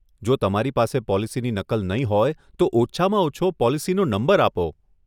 જો તમારી પાસે પોલિસીની નકલ નહીં હોય તો ઓછામાં ઓછો પોલિસીનો નંબર આપો.